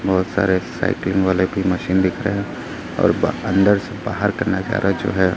बहुत सारे साइकिल वाले की मशीन दिख रहे हैं और अंदर से बाहर का नजारा जो है।